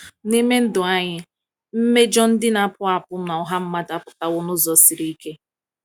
N’ime ndụ anyị, mmejọ ndị na-akpụ akpụ n’ọha mmadụ apụtawo n’ụzọ siri ike.